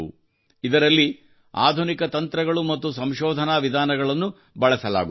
ಇದರಲ್ಲಿ ಆಧುನಿಕ ತಂತ್ರಗಳು ಮತ್ತು ಸಂಶೋಧನಾ ವಿಧಾನಗಳನ್ನು ಬಳಸಲಾಗುತ್ತದೆ